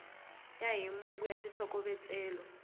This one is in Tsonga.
ya hi mongo wa xitlhokovetselo